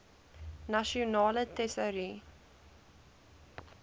nasionale tesourie